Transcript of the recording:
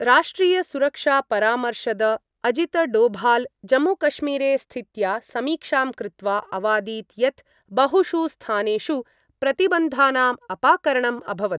राष्ट्रीयसुरक्षापरामर्शद अजीतडोभाल जम्मूकश्मीरे स्थित्या समीक्षां कृत्वा अवादीत् यत् बहुषु स्थानेषु प्रतिबंधानां अपाकरणं अभवत्।